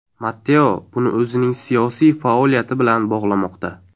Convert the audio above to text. Matteo buni o‘zining siyosiy faoliyati bilan bog‘lamoqda.